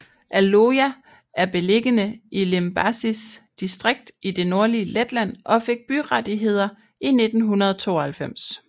Aloja er beliggende i Limbažis distrikt i det nordlige Letland og fik byrettigheder i 1992